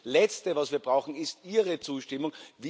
Und das Letzte, was wir brauchen, ist Ihre Zustimmung.